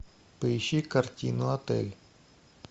поищи картину отель